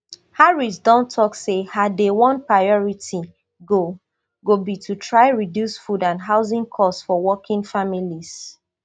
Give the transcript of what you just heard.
harrisdon tok say her dayone priority go go be to try reduce food and housing costs for working families